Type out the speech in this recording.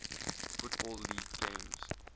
football league games